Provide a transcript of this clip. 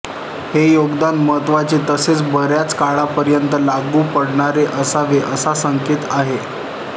हे योगदान महत्त्वाचे तसेच बऱ्याच काळापर्यंत लागू पडणारे असावे असा संकेत आहे